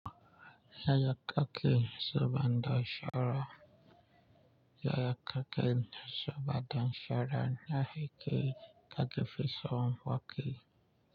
Yaya kake son bada shawara. Yaya kake so bada shawara na yi kai kake fi so hon wake.